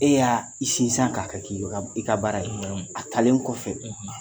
E y'aa i sin san k'a ka k'i yu ka b i ka baara ye, naamu a talen kɔfɛ